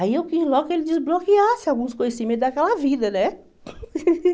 Aí eu quis logo que ele desbloqueasse alguns conhecimentos daquela vida, né?